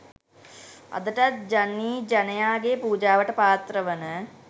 අදටත් ජනීජනයාගේ පූජාවට පාත්‍රවන